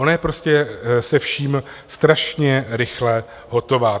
Ona je prostě se vším strašně rychle hotová.